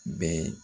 Bɛɛ